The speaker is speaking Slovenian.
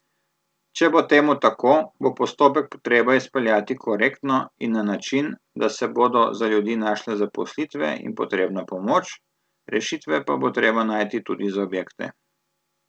Če bo temu tako, bo postopek treba izpeljati korektno in na način, da se bodo za ljudi našle zaposlitve in potrebna pomoč, rešitve pa bo treba najti tudi za objekte.